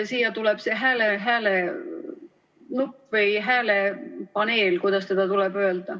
Siia tuleb see hääle nupp või hääle paneel, kuidas seda tuleb öelda.